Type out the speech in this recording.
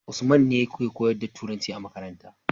usman ne yake koyar da turanci a makaranta